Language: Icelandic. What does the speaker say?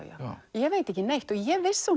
ég veit ekki neitt ég vissi